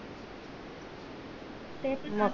ते च ना